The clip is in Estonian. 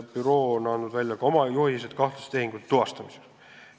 Büroo on koostanud ka oma juhised kahtlaste tehingute tuvastamiseks.